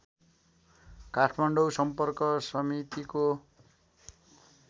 काठमाडौँ सम्पर्क समितिको